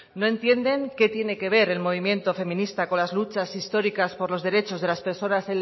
no entienden qué tiene que ver el movimiento feminista con las luchas históricas por los derechos de las personas